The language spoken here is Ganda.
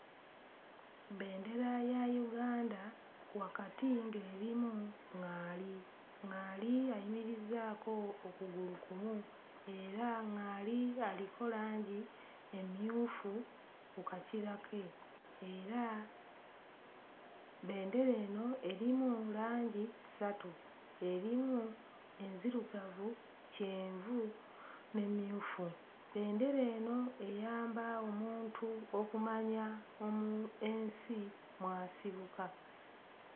Bendera ya Uganda, wakati ng'erimu ŋŋaali. ŋŋaali ayimirizzaako okugulu kumu era ŋŋaali aliko langi emmyufu ku kakira ke era nga bendera eno erimu langi ssatu: erimu enzirugavu, kyenvu n'emmyufu. Bendera eno eyamba omuntu okumanya omu... ensi mw'asibuka.